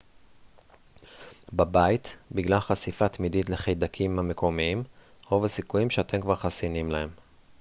בבית בגלל חשיפה תמידית לחיידקים המקומיים רוב הסיכויים שאתם כבר חסינים להם